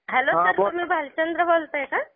Hello sir तुम्ही भालचंद्र बोलताय का?